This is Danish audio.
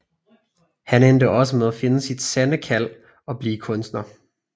Han endte også med at finde sit sande kald og blev kunstner